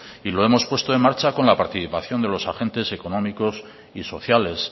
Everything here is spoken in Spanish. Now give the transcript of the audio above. y lo hemos puesto en marcha con la participación de los agentes económicos y sociales